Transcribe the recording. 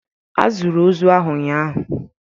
A zụrụ ozu ahụ ụnyahụ